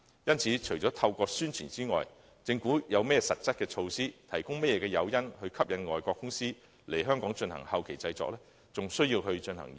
因此，除了透過宣傳外，政府有何實質措施，可提供甚麼誘因，以吸引外國公司來香港進行後期製作呢？